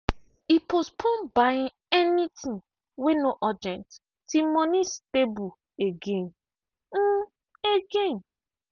e postpone buying anything wey no urgent till money stable again. again.